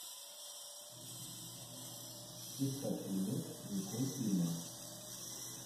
искать фильмец николь кидман